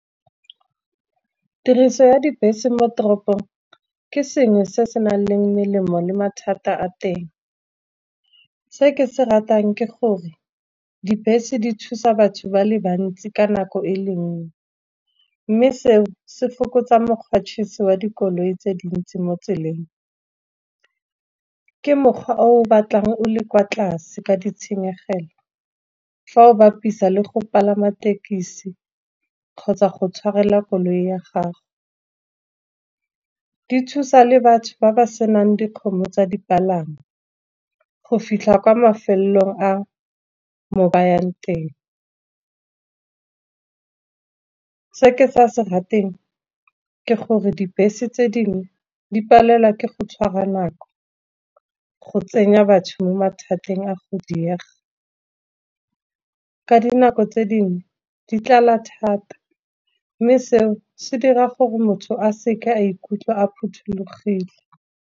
Tiriso ya dibese mo toropong ke sengwe se se nang le melemo le mathata a teng. Se ke se ratang ke gore dibese di thusa batho ba le bantsi ka nako e le nngwe, mme seo se fokotsa wa dikoloi tse dintsi mo tseleng. Ke mokgwa o o batlang o le kwa tlase ka ditshenyegelo, fa o bapisa le go palama tekesi kgotsa go tshwarela koloi ya gago. Di thusa le batho ba ba senang dikgomo tsa dipalangwa, go fitlha kwa mafelong a mo bayang teng. Se ke sa se rateng ke gore dibese tse dingwe di palelwa ke go tshwara nako, go tsenya batho mo mathateng a godile diega. Ka dinako tse dingwe di tlala thata, mme seo se dira gore motho a seke a ikutlwa a phuthulogile.